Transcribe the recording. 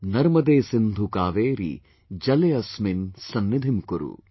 Narmade Sindhu Kaveri Jale asmin sannidhim kuru